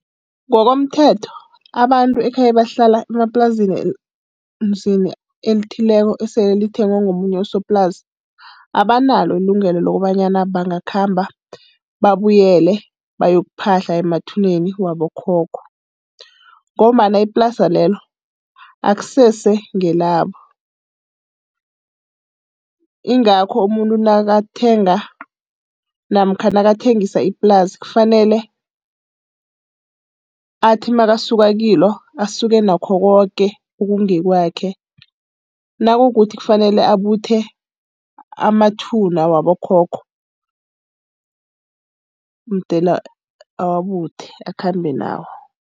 Ngokomthetho, abantu ekhabe ebahlala emaplasini elithileko esele lithengwe ngomunye usoplasi, abanalo ilungelo lokobanyana bangakhamba babuyele bayokuphahla emathuneni wabokhokho, ngombana iplasi lelo akusese ngelabo. Ingakho umuntu nakathenga namkha nakathengisa iplasi kufanele athi nakasuka kilo, asuke nakho koke okungekwakhe. Nakukuthi kufanele abuthe amathuna wabokhokho, mdele awabuthe akhambe nawo.